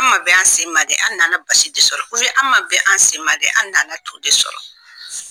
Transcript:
An ma bɛn an sen ma dɛ an nan basi de sɔrɔ, an ma bɛ an sen dɛ an nana to de sɔrɔ.